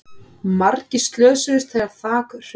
Margir slösuðust þegar þak hrundi